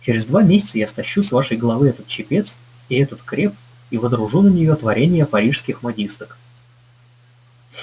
через два месяца я стащу с вашей головы этот чепец и этот креп и водружу на неё творение парижских модисток